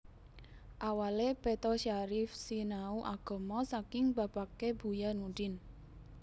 Awale Peto Syarif sinau agama saking bapakke Buya Nudin